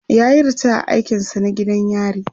yayi ritaya a aikin sa na gidan yari